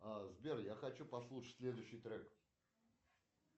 сбер я хочу послушать следующий трек